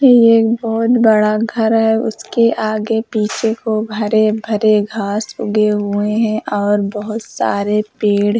ये एक बहोत बड़ा घर है। उसके आगे-पीछे को हरे भरे घास उगे हुए हैं और बहोत सारे पेड़ --